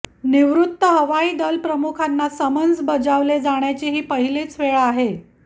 निवृत्त हवाई दलप्रमुखांना समन्स बजावले जाण्याची ही पहिलीच वेळ आहे